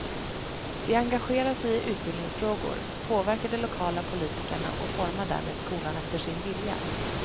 De engagerar sig i utbildningsfrågor, påverkar de lokala politikerna och formar därmed skolan efter sin vilja.